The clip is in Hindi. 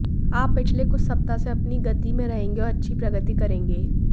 आप पिछले कुछ सप्ताह से अपनी गति में रहेंगे और अच्छी प्रगति करेंगे